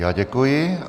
Já děkuji.